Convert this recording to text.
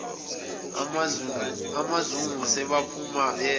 umazungu sebephuma beya